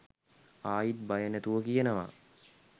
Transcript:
ආයිත් බය නැතුව කියනවා